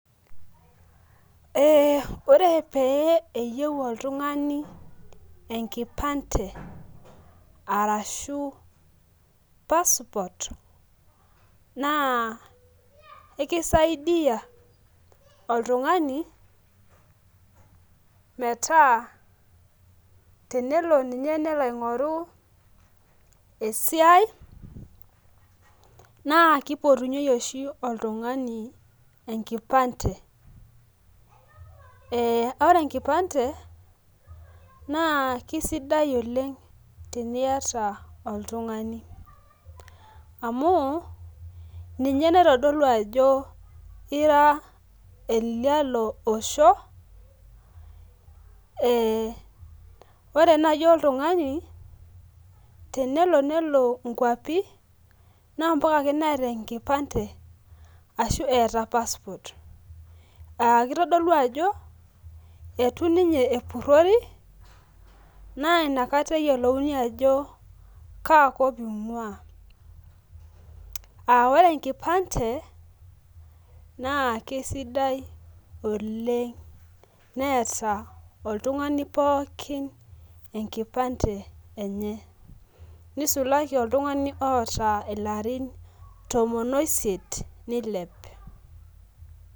Ee ore pee eyieu oltungani enkipande arashu passport naa kisidai oltungani metaa tenelo. Ninye nelo aing'oru esiai. naa kipotunyeki oshi oltungani enkipande.ee ore enkipande naa kisidai oleng netiata oltungani. amu ninye naitodolu ajo ira olialo Osho. ee ore naaji oltungani tenelo nelo nkuapi. naa mpaka ake neeta enkipande. ashu eeta passport. kitodolu ajo, eitu ninye epurori. naa inakata eyiolouni ajo kaakop inguaa. ore enkipande naa kisidai oleng neeta inkipande enye. nisulaki oltungani oota ilarin tomon oiset.